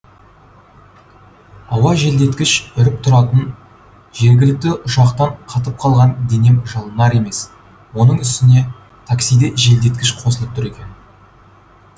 ауа желдеткіш үріп тұратын жергілікті ұшақтан қатып қалған денем жылынар емес оның үстіне таксиде желдеткіш қосылып тұр екен